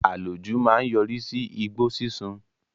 Àlòjù máa ń yọrí sí igbó sísun